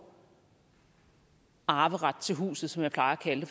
arveret til huset som jeg plejer at kalde